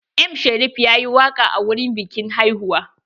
M Sharif yayi waƙa a wurin biƙin hauwa.